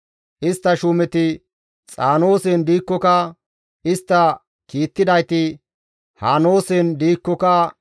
Istta shuumeti Xaanoosen diikkoka, istta kiittidayti Haneesen diikkoka,